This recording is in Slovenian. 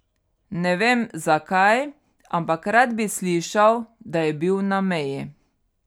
Ne vem, zakaj, ampak rad bi slišal, da je bil na meji.